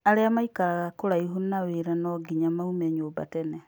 Aria maikaraga kũraihu na wĩra no ngima maume nyũmba tene.